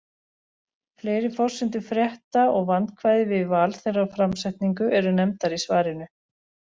Fleiri forsendur frétta og vandkvæði við val þeirra og framsetningu eru nefndar í svarinu.